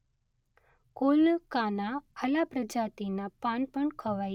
કોલકાના આલા પ્રજાતિના પાન પણ ખવાય.